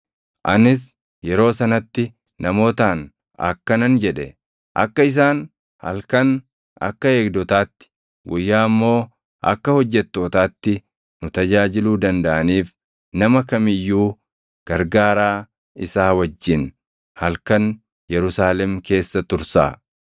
Anis yeroo sanatti namootaan akkanan jedhe; “Akka isaan halkan akka eegdotaatti, guyyaa immoo akka hojjettootaatti nu tajaajiluu dandaʼaniif nama kam iyyuu gargaaraa isaa wajjin halkan Yerusaalem keessa tursaa.”